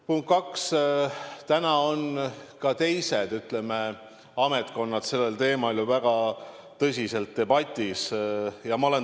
Punkt kaks: täna on ka teised ametkonnad sellel teemal ju väga tõsiselt debatti pidamas.